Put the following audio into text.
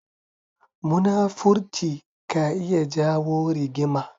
Munafurci ka iya jawo rigima.